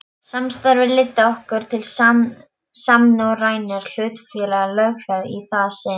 Samstarfið leiddi ekki til samnorrænnar hlutafélagalöggjafar í það sinn.